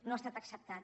no ha estat acceptat